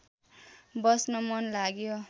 बस्न मन लाग्यो